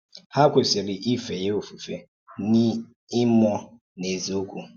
Há kwèsìrì ífè yá ofùfé n’ìmúọ̀ nà n’èzíòkwú.